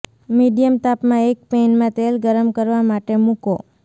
medium તાપમાં એક પેનમાં તેલ ગરમ કરવા માટે મૂકો